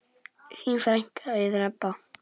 Þín frænka, Auður Ebba.